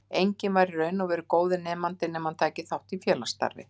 Enginn var í raun og veru góður nemandi nema hann tæki þátt í félagsstarfi.